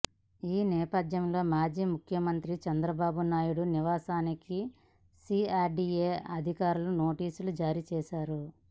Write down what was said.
ఈ నేపథ్యంలో మాజీ ముఖ్యమంత్రి చంద్రబాబునాయుడు నివాసానికి సీఆర్డీఏ అధికారులు నోటీసులు జారీ చేశారు